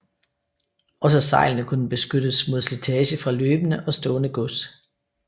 Også sejlene kunne beskyttes mod slitage fra løbende og stående gods